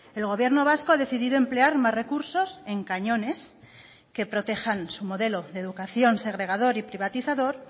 el gobierno vasco ha decidido emplear más recursos en cañones que protejan su modelo de educación segregador y privatizador